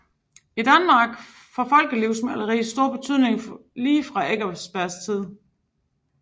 I Danmark får folkelivsmaleri stor betydning lige fra Eckersbergs tid